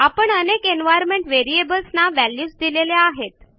आपण अनेक environment variables ना व्हॅल्यूज दिलेल्या आहेत